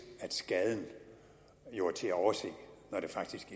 at skaden jo er til at overse når det faktisk